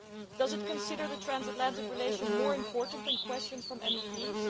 Does it consider the transatlantic relationship more important than questions from MEPs?